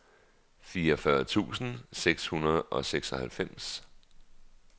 fireogfyrre tusind seks hundrede og seksoghalvfems